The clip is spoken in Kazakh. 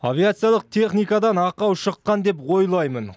авиациялық техникадан ақау шыққан деп ойлаймын